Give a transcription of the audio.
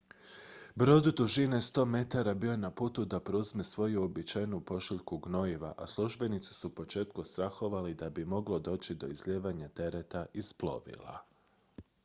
brod dužine 100 metara bio je na putu da preuzme svoju uobičajenu pošiljku gnojiva a službenici su u početku strahovali da bi moglo doći do izlijevanja tereta iz plovila